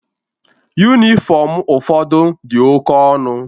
Yunifọmu ụfọdụ dị oke ọnụ.